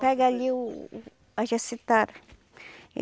Pega ali o a jacitara.